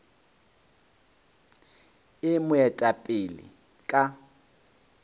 e mo eta pele ka